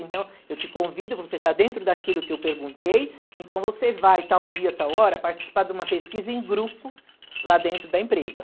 Então, eu te convido, você está dentro daquilo que eu perguntei, então você vai, tal dia, tal hora, participar de uma pesquisa em grupo, lá dentro da empresa.